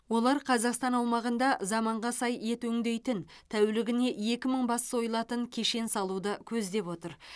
олар қазақстан аумағында заманға сай ет өңдейтін тәулігіне екі мың бас сойылатын кешен салуды көздеп отыр